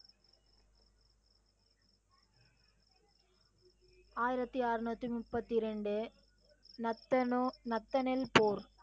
ஆயிரத்தி அரனுத்தி நுப்பத்தி இரண்டு நத்தனு நத்தனில் போர்.